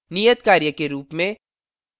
नियत कार्य के रूप में